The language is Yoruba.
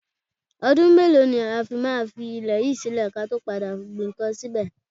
Ọdún mélòó ni a fi máa fi ilẹ̀ yìí sílè kí a tó padà gbin ǹkan síbẹ̀?